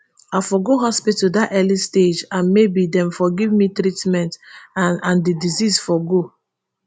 i for go hospital dat early stage and maybe dem for give me treatment and and di disease for go